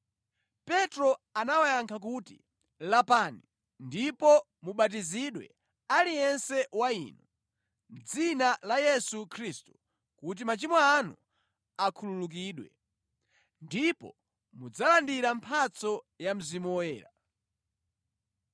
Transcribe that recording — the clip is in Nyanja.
Petro anawayankha kuti, “Lapani ndipo mubatizidwe aliyense wa inu, mʼdzina la Yesu Khristu kuti machimo anu akhululukidwe. Ndipo mudzalandira mphatso ya Mzimu Woyera.